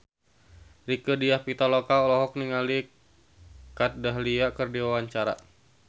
Rieke Diah Pitaloka olohok ningali Kat Dahlia keur diwawancara